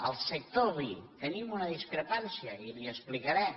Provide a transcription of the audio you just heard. al sector oví hi tenim una discrepància i li ho explicaré